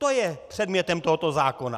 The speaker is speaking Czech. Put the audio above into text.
To je předmětem tohoto zákona.